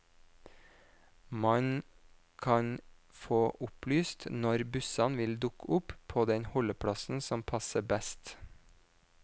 Man kan få opplyst når bussene vil dukke opp på den holdeplassen som passer best.